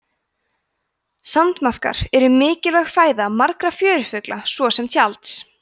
sandmaðkar eru mikilvæg fæða margra fjörufugla svo sem tjalds